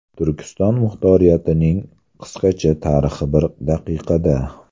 Turkiston muxtoriyatining qisqacha tarixi bir daqiqada.